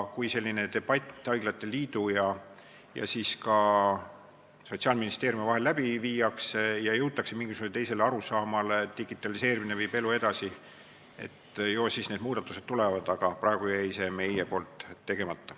Kui selline debatt haiglate liidu ja Sotsiaalministeeriumi vahel läbi viiakse ja jõutakse mingisugusele teisele arusaamale – digitaliseerimine viib elu edasi –, ju siis need muudatused tulevad, aga praegu jäi see meil tegemata.